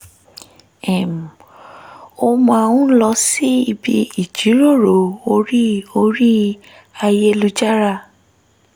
um ó máa ń lọ síbi ìjíròrò orí orí ayélujára